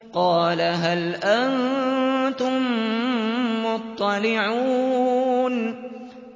قَالَ هَلْ أَنتُم مُّطَّلِعُونَ